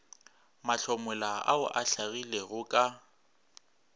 mahlomola ao a hlagilego ka